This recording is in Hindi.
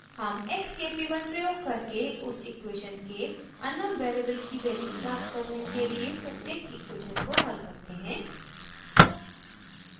हम x k p 1 प्रयोग करके उस इक्वेशन के अननोन वेरिएबल की वैल्यू प्राप्त करने के लिए प्रत्येक इक्वेशन को हल करते हैं